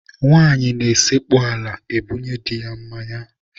Nwaanyị na-esekpu ala ebunye di ya mmanya.